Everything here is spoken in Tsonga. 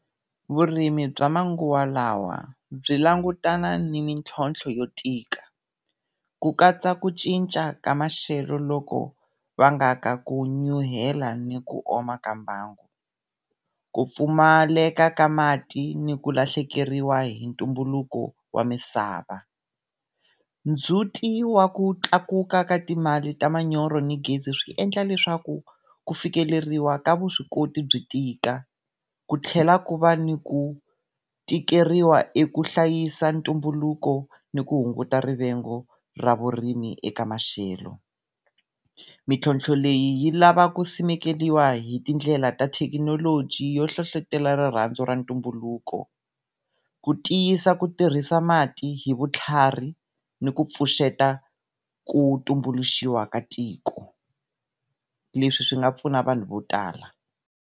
Vurimi bya manguva lawa byi langutana ni mitlhontlho yo tika, ku katsa ku cinca ka maxelo loku ku vangaka ku nyuhela ni ku oma ka mbangu. Ku pfumaleka ka mati ni ku lahlekeriwa hi ntumbuluko wa misava. Ndzhuti wa ku tlakuka ka timali ta manyoro ni gezi swi endla leswaku ku fikeleriwa ka vuswikoti byi tika, ku tlhela ku va ni ku tikeriwa eku hlayisa ntumbuluko ni ku hunguta rivengo ra vurimi eka maxelo. Mitlhotlho leyi yi lava ku simekiwa hitindlela ta thekinoloji yo hlohlotelo rirhandzu ra ntumbuluko. Ku tiyisa ku tirhisa mati hi vutlhari ni ku pfuxeta ku tumbuluxiwa ka tiko leswi swi nga pfuna vanhu vo tala.